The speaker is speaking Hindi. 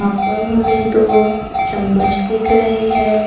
यहां पर हमें दो चम्मच दिख रहे हैं।